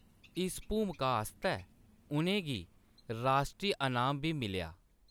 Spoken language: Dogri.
इस भूमका आस्तै उʼनें गी राश्ट्री अनाम बी मिलेआ।